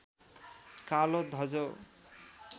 कालो धजो